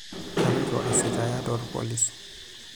Kaloito aisitaaya toolpolisi.